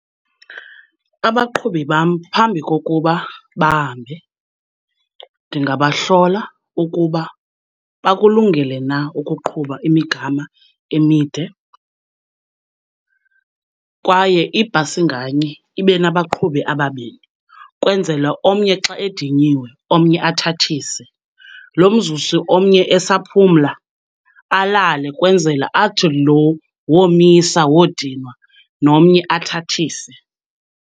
Abaqhubi bam phambi kokuba bahambe ndingabahlola ukuba bakulungele na ukuqhuba imigama emide, kwaye ibhasi nganye ibe nabaqhubi ababini ukwenzela omnye xa edinyiwe omnye athathise. Lo mzuzu omnye esaphumla alale kwenzela athi lo womisa wodinwa nomnye athathise.